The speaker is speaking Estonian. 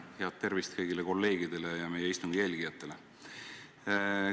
Head tervist kõigile kolleegidele ja meie istungi jälgijatele!